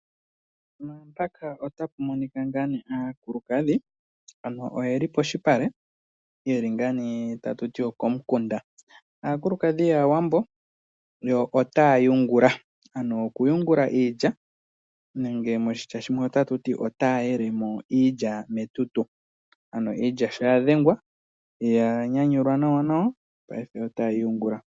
Mpaka ota pu monika ngaa nee aakulukadhi ,ano oyeli poshipale ,yeli ngaa nee tatu ti okomukunda . Aakulukadhi yaawambo ,yo otaa yungula ,ano oku yungula iilya nenge moshitya shimwe otatu ti otaa yele mo iilya metutu. Ano iilya sho ya dhengwa ,ya nyanyulwa nawanawa paife otaye yi yungula.